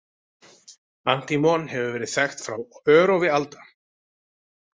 Antímon hefur verið þekkt frá örófi alda.